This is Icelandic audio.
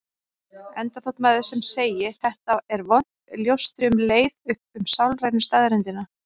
Enda þótt maður sem segi: Þetta er vont ljóstri um leið upp um sálrænu staðreyndina.